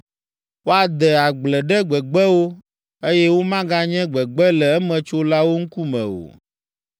Woade agble ɖe gbegbewo, eye womaganye gbegbe le emetsolawo ŋkume o.